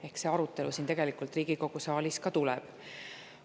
Ehk see arutelu siin Riigikogu saalis tegelikult tuleb.